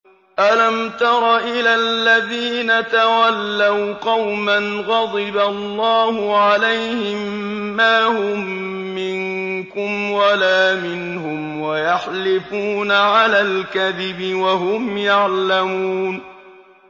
۞ أَلَمْ تَرَ إِلَى الَّذِينَ تَوَلَّوْا قَوْمًا غَضِبَ اللَّهُ عَلَيْهِم مَّا هُم مِّنكُمْ وَلَا مِنْهُمْ وَيَحْلِفُونَ عَلَى الْكَذِبِ وَهُمْ يَعْلَمُونَ